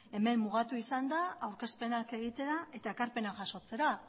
hemen mugatu izan da aurkezpenak egitera eta ekarpena jasotzera